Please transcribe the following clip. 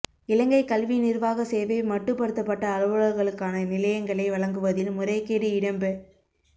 இலங்கை கல்வி நிர்வாக சேவை மட்டுப்படுத்தப்பட்ட அலுவலர்களுக்கான நிலையங்களை வழங்குவதில் முறைகேடு இடம்பெ